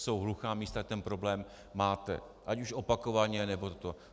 Jsou hluchá místa, ten problém máte, ať už opakovaně, nebo to...